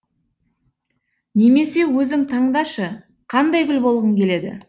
немесе өзің таңдашы қандай гүл болғың келеді